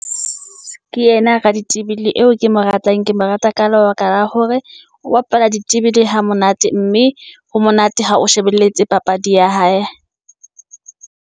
Ke yena raditebele eo ke mo ratang, ke mo rata ka lebaka la hore o bapala ditebele hamonate, mme ho monate ha o shebelletse papadi ya hae.